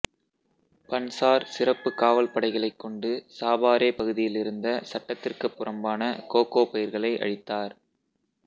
Banzer சிறப்பு காவல் படைகளை கொண்டு சாபாரே பகுதியிலிருந்த சட்டத்திற்கு புறம்பான கோகோ பயிர்களை அழித்தார்